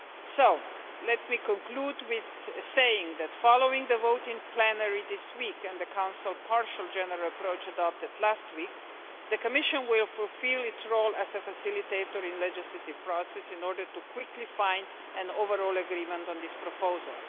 So, let me conclude with saying that following the vote in plenary this week and the Council partial general approach adopted last week, the Commission will fulfil its role as a facilitator in the legislative process in order to quickly find an overall agreement on this proposal.